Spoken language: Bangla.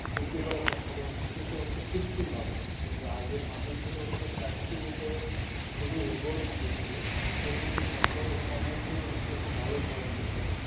বৃদ্ধি করার চেষ্টা করতে হচ্ছে কৃত্রিম ভাবে তো আগের মাটি ছিল হচ্ছে প্রাকৃতিক উপায়ে খুবই উর্বর মাটি ছিল যেকোনো ফসল অনায়াসেই হচ্ছে খুব ভালো ফলন দিত